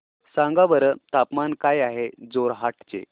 सांगा बरं तापमान काय आहे जोरहाट चे